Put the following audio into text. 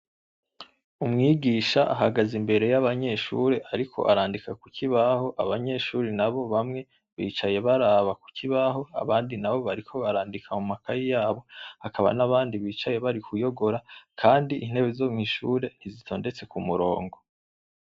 Umwigisha ahagaze imbere y'abanyeshure ariko arandika ku kibaho abanyeshure nabo bamwe bicaye baraba ku kibaho abandi nabo bariko barandika mu makaye yabo, hakaba n’abandi bicaye bari kuyogora kandi intebe zo mw'ishure ntizitondetse ku murongo.